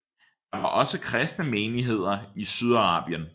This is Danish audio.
Der var også kristne menigheder i Sydarabien